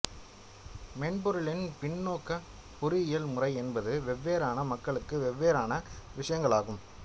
மென்பொருளின் பின்னோக்குப் பொறியியல் முறை என்பது வெவ்வேறான மக்களுக்கு வெவ்வேறான விஷயங்களாகும்